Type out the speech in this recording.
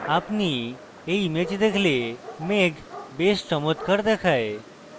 আপনি when image দেখলে মেঘ বেশ চমত্কার দেখায়